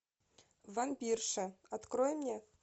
вампирша открой мне